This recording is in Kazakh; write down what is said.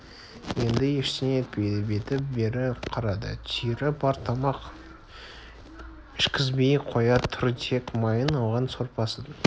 енді ештеңе етпейді беті бері қарады түйірі бар тамақ ішкізбей қоя тұр тек майын алған сорпасын